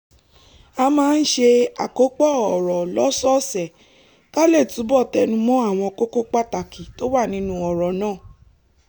a máa ń ṣe àkópọ̀ ọ̀rọ̀ lọ́sọ̀ọ̀sẹ̀ ká lè túbọ̀ tẹnu mọ́ àwọn kókó pàtàkì tó wà nínú ọ̀rọ̀ náà